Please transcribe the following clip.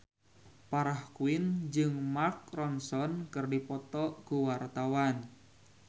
Farah Quinn jeung Mark Ronson keur dipoto ku wartawan